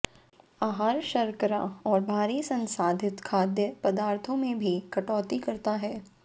आहार शर्करा और भारी संसाधित खाद्य पदार्थों में भी कटौती करता है